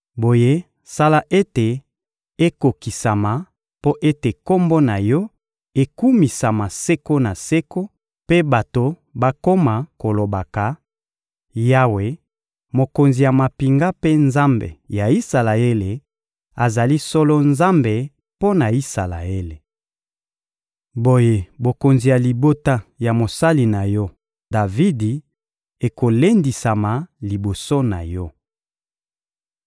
Boye, sala ete ekokisama, mpo ete Kombo na Yo ekumisama seko na seko mpe bato bakoma kolobaka: ‹Yawe, Mokonzi ya mampinga mpe Nzambe ya Isalaele, azali solo Nzambe mpo na Isalaele!› Boye bokonzi ya libota ya mosali na Yo, Davidi, ekolendisama liboso na Yo.